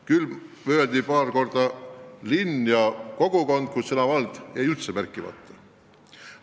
Küll kõlasid paar korda "linn" ja "kogukond", kuid sõna "vald" jäi üldse märkimata.